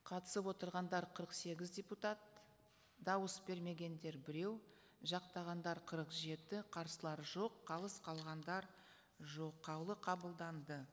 қатысып отырғандар қырық сегіз депутат дауыс бермегендер біреу жақтағандар қырық жеті қарсылар жоқ қалыс қалғандар жоқ қаулы қабылданды